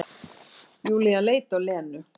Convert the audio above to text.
Júlía leit á Lenu.